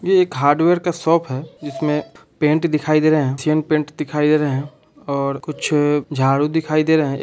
ये एक हार्डवेयर का शॉप है जिसमें पेंट दिखाई दे रहे है सेम पेंट दिखाई दे रहे है और कुछ झाड़ू दिखाई दे रहे है।